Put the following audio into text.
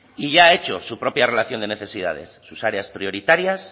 y ya ha hecho su propia relación de necesidades sus áreas prioritarias